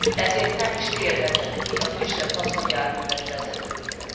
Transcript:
ezért nem is térhetett ki a kisebb haszonjárművek vezetőire.